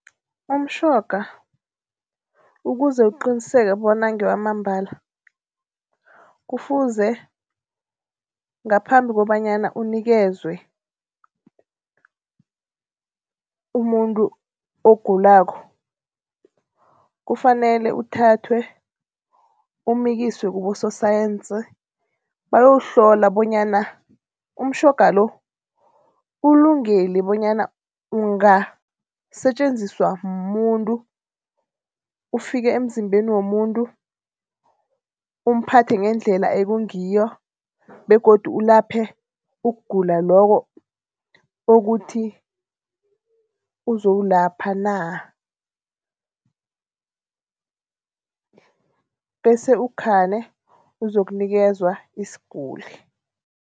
Umtjhoga ukuze uqiniseke bona ngewamambala kufuze ngaphambi kobanyana unikezwe umuntu ogulako, kufanele uthathwe umikiswe kibososayensi bayowuhlola bonyana umtjhoga lo ulungile bonyana ungasetjenziswa mumuntu. Ufike emzimbeni womuntu umphathe ngendlela ekungiyo begodu ulaphe ukugula lokho okuthi uzowulapha na. Bese ukhani uzokunikezwa isiguli.